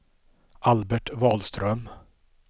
Albert Wahlström